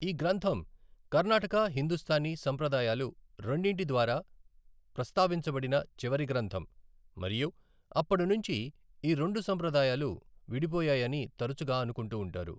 ఈ గ్రంథం కర్ణాటక, హిందుస్తానీ సంప్రదాయాలు రెండింటి ద్వారా ప్రస్తావించబడిన చివరి గ్రంథం మరియు అప్పడినుంచి ఈ రెండు సంప్రదాయాలు విడిపోయాయని తరచుగా అనుకుంటూ ఉంటారు.